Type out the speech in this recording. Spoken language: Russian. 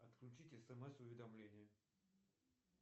отключить смс уведомления